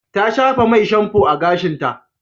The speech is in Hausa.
Ta shafa mai shamfo a gashinta.